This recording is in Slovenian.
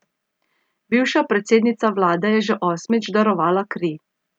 Bivša predsednica vlade je že osmič darovala kri.